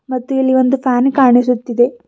ಮತ್ತು ಇಲ್ಲಿ ಒಂದು ಪ್ಯಾನ್ ಕಾಣಿಸುತ್ತಿದೆ.